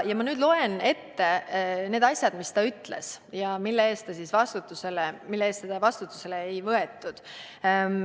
Ma loen ette need asjad, mida ta ütles ja mille eest teda vastutusele ei võetud.